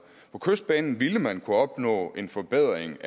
på kystbanen ville man kunne opnå en forbedring